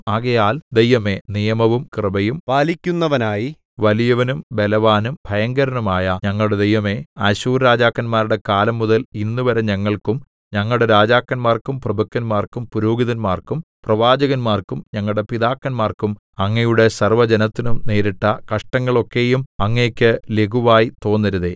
ആകയാൽ ദൈവമേ നിയമവും കൃപയും പാലിക്കുന്നവനായി വലിയവനും ബലവാനും ഭയങ്കരനുമായ ഞങ്ങളുടെ ദൈവമേ അശ്ശൂർ രാജാക്കന്മാരുടെ കാലം മുതൽ ഇന്നുവരെ ഞങ്ങൾക്കും ഞങ്ങളുടെ രാജാക്കന്മാർക്കും പ്രഭുക്കന്മാർക്കും പുരോഹിതന്മാർക്കും പ്രവാചകന്മാർക്കും ഞങ്ങളുടെ പിതാക്കന്മാർക്കും അങ്ങയുടെ സർവ്വജനത്തിനും നേരിട്ട കഷ്ടങ്ങളൊക്കെയും അങ്ങേക്ക് ലഘുവായി തോന്നരുതേ